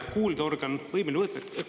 … ei ole kuuldeorgan võimeline …